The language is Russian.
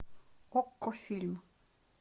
окко фильм